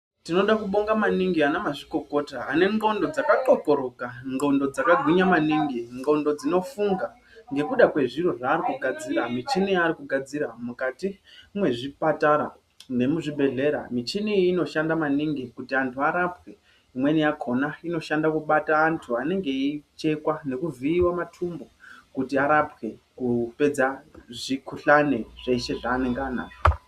Tinoda kubonga maningi ana mazvikokota ane ndxondo dzakatwosoroka ndxondo dzakagwinya maningi ndxondo dzinofunga nekuda kwemuchini yaanogadzira zvimwe zvipatara nemuzvibhehlera muchiniyo inoshanda maningi kuti vantu varapwe imwe yakona inoshanda kubata vantu vanenge veichekwa veivhiiwa matumbu kuti arapwe kupedza zvikhuhani zveshe zvaanenge anazvo.